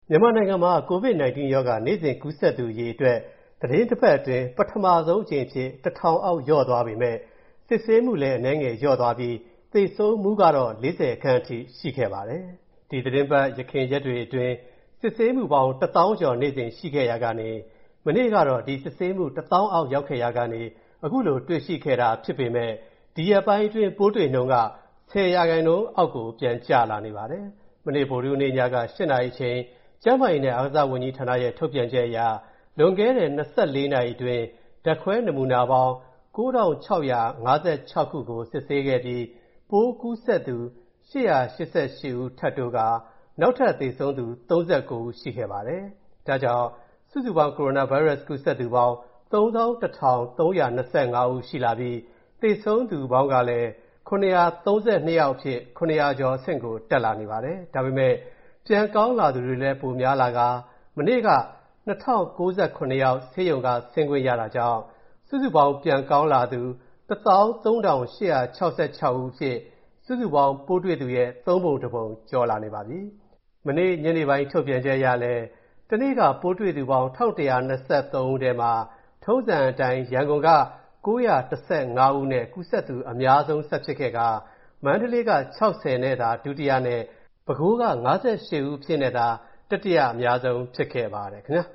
မြန်မာနိုင်ငံမှာ COVID-19 ရောဂါ နေ့စဉ်ကူးစက်သူအရေအတွက် သီတင်းတပတ်အတွင်း ပထမဆုံးအကြိမ်အဖြစ် ၁,၀၀၀ အောက်လျော့သွားပေမဲ့၊ စစ်ဆေးမူအနည်းငယ်နည်းသွားပြီး၊ သေဆုံးမူကတော့ ၄၀ ခန့်အထိရှိခဲ့ပါတယ်။ ဒီသီတင်းပတ် ယခင်ရက်တွေအတွင်း စစ်ဆေးမူပေါင်း တစ်သောင်းကျော်နေ့စဉ်ရှိခဲ့ရာကနေ၊ မနေ့ကတော့ ဒီစစ်ဆေးမူတစ်သောင်းအောက်ရောက်ခဲ့ရာကနေ ခုလိုတွေ့ရှိခဲ့တာဖြစ်ပေမဲ့၊ ဒီရက်ပိုင်းတွေအတွင်း ပိုးတွေ့နှုန်းက ၁၀ % အောက်ပြန်ကျလာနေပါတယ်။ မနေ့ ဗုဒ္ဓဟူးနေ့ည ၈ နာရီအချိန် ကျန်းမာရေးနဲ့ အားကစားဝန်ကြီးဌာနရဲ့ ထုတ်ပြန်ချက်အရ လွန်ခဲ့တဲ့ ၂၄ နာရီအတွင်း ဓာတ်ခွဲနမူနာပေါင်း ၉,၆၅၆ ခုကို စစ်ဆေးခဲ့ပြီး၊ ပိုးကူးစက်သူ ၈၈၈ ဦး ထပ်တိုးပြီး၊ နောက်ထပ်သေဆုံးသူ ၃၉ ဦးရှိခဲ့ပါတယ်။ ဒါကြောင့် စုစုပေါင်းကိုရိုနာဗိုင်းရပ်စ်ကူးစက်သူပေါင်း ၃၁,၃၂၅ ရှိလာပြီး၊ သေဆုံးသူပေါင်းကလည်း ၇၃၂ ယောက်အဖြစ် ၇၀၀ ကျော်အဆင့်ကိုတက်လာနေပါတယ်။ ဒါပေမဲ့ ပြန်ကောင်းလာသူတွေလဲ ပိုများလာကာ၊ မနေ့က ၂,၀၉၇ ယောက် ဆေးရုံက ဆင်းခွင့်ရတာကြောင့်၊ စုစုပေါင်း ပြန်ကောင်းလာသူ ၁၃,၈၆၆ ယောက်အဖြစ် စုစုပေါင်းပိုးတွေ့သူရဲ့ သုံးပုံတစ်ပုံကျော် လာပါပြီ။ ဒီကနေ့ညနေပိုင်း ထုတ်ပြန်ချက်အရလည်း တနေ့က ပိုးတွေ့သူပေါင်း ၁၁၂၃ ဦးမှာ၊ ထုံးစံအတိုင်း ရန်ကုန်တိုင်းက ၉၁၅ ဦးနဲ့ ကူးစက်သူအများဆုံးဆက်ဖြစ်ခဲ့ပြီး၊ မန္တလေးက ၆၀ သာ ဒုတိယနဲ့ ပဲခူးက ၅၈ ဦးအဖြစ်နဲ့သာ တတိယအများဆုံးဖြစ်ခဲ့ပါတယ်။ အမျာ